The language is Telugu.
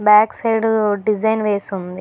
బ్యాక్ సైడ్ డిజైన్ వేసి ఉంది.